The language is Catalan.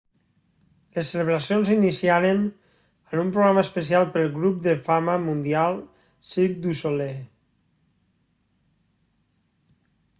les celebracions s'iniciaren amb un programa especial pel grup de fama mundial cirque du soleil